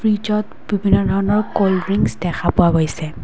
ফ্ৰিজত বিভিন্ন ধৰণৰ কল্ড ড্ৰিংচ দেখা পোৱা গৈছে।